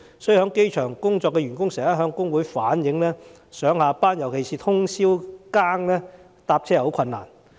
因此，在機場工作的員工經常向工會反映，上下班乘車十分困難。